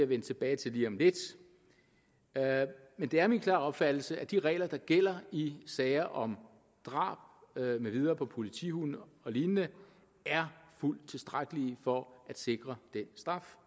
vende tilbage til lige om lidt men det er min klare opfattelse at de regler der gælder i sager om drab med videre på politihunde og lignende er fuldt tilstrækkelige for at sikre den straf